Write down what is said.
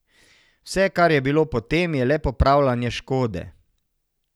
Vse, kar je bilo potem, je le popravljanje škode.